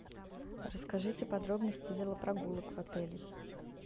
расскажите подробности велопрогулок в отеле